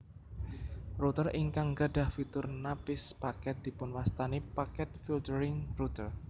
Router ingkang gadhah fitur napis paket dipunwastani packet filtering router